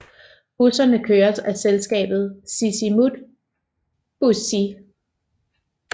Busserne køres af selskabet Sisimiut Bussii